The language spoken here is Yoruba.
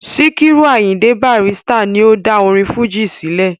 Sikiru Ayinde Barrister ni ó dá orin fújì sílẹ̀.